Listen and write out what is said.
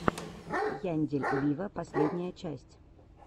яндель виво последняя часть